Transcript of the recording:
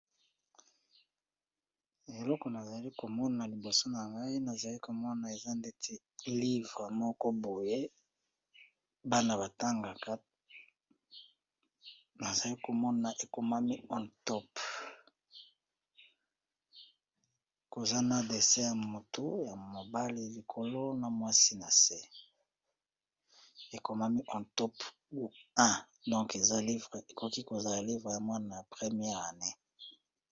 Eloko nazali komona liboso na ngai nazali komona eza neti livre moko boye, bana batangaka nazali komona ekomami onetop kozana dessin ya motu ya mobali likolo na mwasi na se, ekomami one top 1 donk eza livre ekoki kozala livre ya mwana ya premiere année.